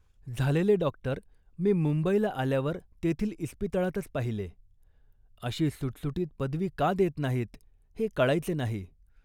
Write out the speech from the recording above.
झालेले डॉक्टर मी मुंबईला आल्यावर तेथील इस्पितळातच पाहिले. अशी सुटसुटीत पदवी का देत नाहीत, हे कळायचे नाही